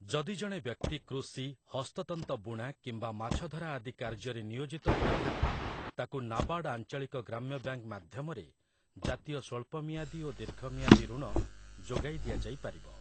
ଯଦି ଜଣେ ବ୍ୟକ୍ତି କୃଷି, ହସ୍ତତନ୍ତ ବୁଣା କିମ୍ବା ମାଛଧରା ଆଦି କାର୍ଯ୍ୟରେ ନିୟୋଜିତ ହୋଇଥାଏ ତାକୁ ନାବାର୍ଡ଼ ଆଞ୍ଚଳିକ ଗ୍ରାମ୍ୟବ୍ୟାଙ୍କ୍‌ ମାଧ୍ୟମରେ ଜାତୀୟ ସ୍ଵଳ୍ପମିଆଦୀ ଓ ଦୀର୍ଘମିଆଦୀ ଋଣ ଯୋଗାଇଦିଆଯାଇପାରିବ ।